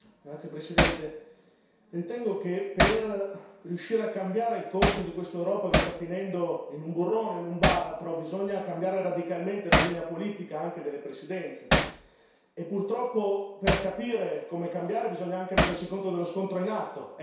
Signor Presidente, onorevoli colleghi, ritengo che per riuscire a cambiare il corso di quest'Europa che sta finendo in un burrone, in un baratro, bisogna cambiare radicalmente la linea politica, anche delle Presidenze. E purtroppo, per capire come cambiare, bisogna anche rendersi conto dello scontro in atto.